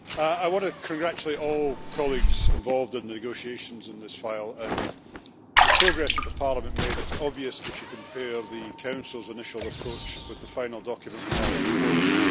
I want to congratulate all colleagues involved in the negotiations in this file, and the progress of Parliament made is obvious if you compare the Council's initial approach with the final document we have before us.